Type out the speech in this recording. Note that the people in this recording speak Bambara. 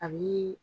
A bi